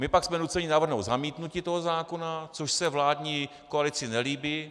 My pak jsme nuceni navrhnout zamítnutí toho zákona, což se vládní koalici nelíbí.